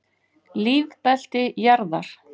Lífbelti jarðar.